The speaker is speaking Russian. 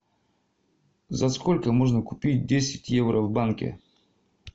за сколько можно купить десять евро в банке